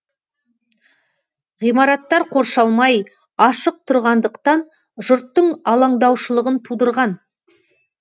ғимараттар қоршалмай ашық тұрғандықтан жұрттың алаңдаушылығын тудырған